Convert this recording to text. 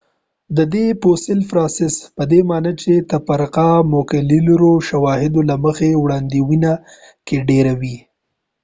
د دې فوسیل پراساس پدې معنی چې تفرقه د مولیکولر شواهدو له مخې وړاندوینه کې ډیره وه